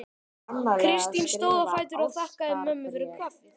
Kristín stóð á fætur og þakkaði mömmu fyrir kaffið.